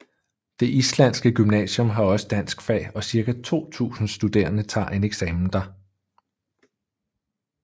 Det islandske gymnasium har også danskfag og cirka 2000 studerende tager en eksamen der